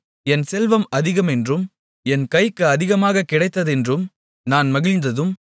என் செல்வம் அதிகமென்றும் என் கைக்கு அதிகமாக கிடைத்ததென்றும் நான் மகிழ்ந்ததும்